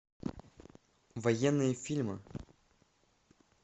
военные фильмы